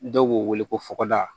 Dɔw b'u weele ko fɔgɔda